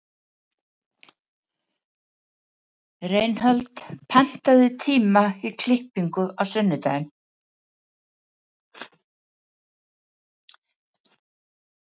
Reinhold, pantaðu tíma í klippingu á sunnudaginn.